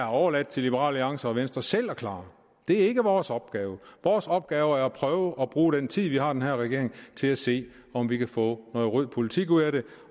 overladt til liberal alliance og venstre selv at klare det er ikke vores opgave vores opgave er at prøve at bruge den tid vi har den her regering til at se om vi kan få noget rød politik ud af det